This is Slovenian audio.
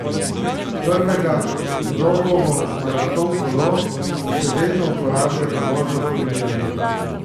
Prvega, Rogovo maraton kolo, še vedno uporablja za vožnjo po Ljubljani.